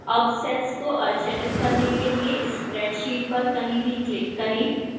अब cells को अचयनित करने के लिए spreadsheet पर कहीं भी click करें